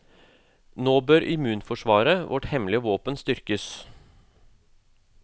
Nå bør immunforsvaret, vårt hemmelige våpen, styrkes.